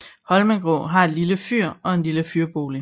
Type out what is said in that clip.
Holmengrå har et lille fyr og en lille fyrbolig